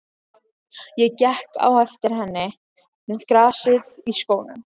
Ég gekk á eftir henni með grasið í skónum!